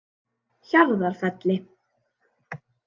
Hjarðarfelli